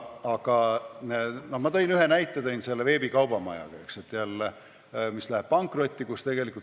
Ma ühe näite tõin selle veebikaubamajaga, mis läheb pankrotti.